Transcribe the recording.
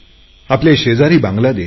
आपल्या शेजारी बांगलादेश आहे